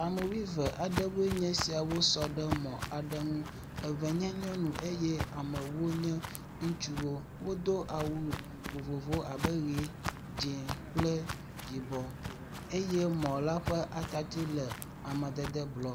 Ame wuieve aɖewo nye esia sɔ ɖe mɔ aɖe ŋu. eve nye nyɔnu eye ame ewo nye ŋutsuwo. Wodo awu vovovowo abe ʋi, dze kple yibɔ eye mɔ la ƒe atatsi le amadede blɔ.